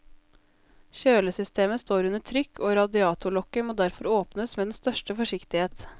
Kjølesystemet står under trykk, og radiatorlokket må derfor åpnes med den største forsiktighet.